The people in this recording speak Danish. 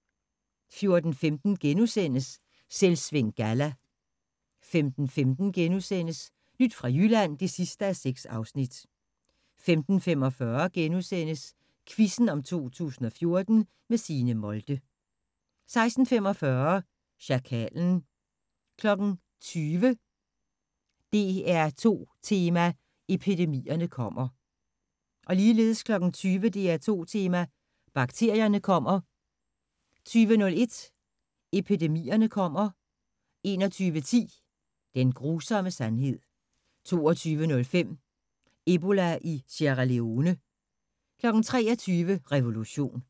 14:15: Selvsving Galla * 15:15: Nyt fra Jylland (6:6)* 15:45: Quizzen om 2014 – med Signe Molde * 16:45: Sjakalen 20:00: DR2 Tema: Epidemierne kommer... 20:00: DR2 Tema: Bakterierne kommer 20:01: Epidemierne kommer... 21:10: Den grusomme sandhed 22:05: Ebola i Sierra Leone 23:00: Revolution